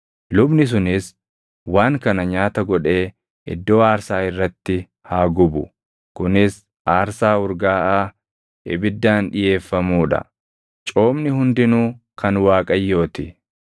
Lubni sunis waan kana nyaata godhee iddoo aarsaa irratti haa gubu; kunis aarsaa urgaaʼaa ibiddaan dhiʼeeffamuu dha. Coomni hundinuu kan Waaqayyoo ti.